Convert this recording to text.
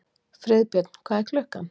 Friðbjörn, hvað er klukkan?